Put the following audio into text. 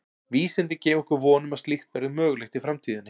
Vísindin gefa okkur von um að slíkt verði mögulegt í framtíðinni.